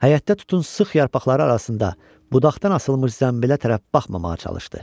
Həyətdə tutun sıx yarpaqları arasında budaqdan asılmış zənbilə tərəf baxmamağa çalışdı.